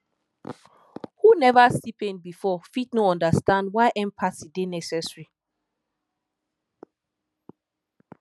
who neva see pain before fit no understand why empathy dey necessary